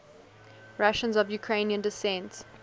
russians of ukrainian descent